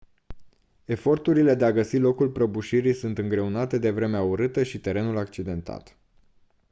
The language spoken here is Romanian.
eforturile de a găsi locul prăbușirii sunt îngreunate de vremea urâtă și terenul accidentat